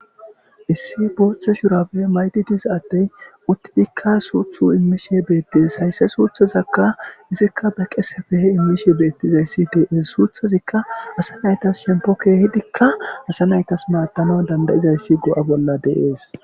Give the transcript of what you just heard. Issi bootha shurabe mayidi diza adey uttidika suuthu emishe beetes.haysa Suuthazaka ezika be qeseppe imishe beetizaysi de'es. Suuthazika asa naytas shempo keehidika asa naytas maadanaw danda'izaysi go'aa bola de'es.